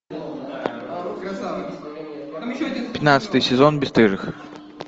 пятнадцатый сезон бесстыжих